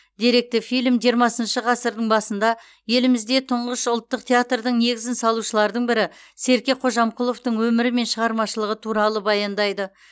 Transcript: деректі фильм жиырмасыншы ғасырдың басында елімізде тұңғыш ұлтық театрдың негізін салушылардың бірі серке қожамқұловтың өмірі мен шығармашылығы туралы баяндайды